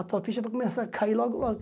A tua ficha vai começar a cair logo, logo.